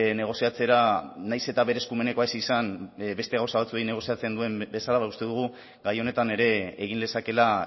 negoziatzera nahiz eta bere eskumenekoa ez izan beste gauza batzuei negoziatzen duen bezala uste dugu gai honetan ere egin lezakeela